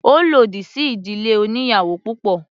Ó lòdì sí ìdílé oníyàwò púpọ̀.